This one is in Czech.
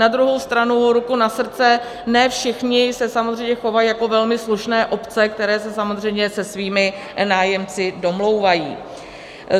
Na druhou stranu ruku na srdce, ne všichni se samozřejmě chovají jako velmi slušné obce, které se samozřejmě se svými nájemci domlouvají.